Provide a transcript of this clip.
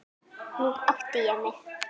Nú átti ég mig.